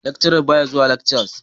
Lecturern baya zuwa lekcas.